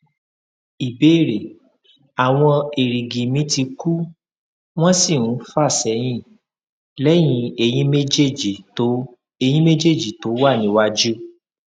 ìbéèrè awon erigi mi ti ku won si n fasehin lẹyìn eyin méjèèjì tó eyin méjèèjì tó wà níwájú